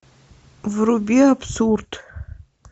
вруби абсурд